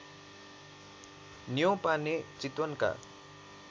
Neupane चितवनका